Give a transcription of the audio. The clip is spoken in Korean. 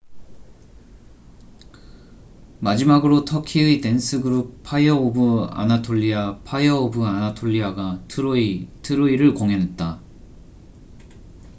"마지막으로 터키의 댄스 그룹 파이어 오브 아나톨리아fire of anatolia가 "트로이troy""를 공연했다.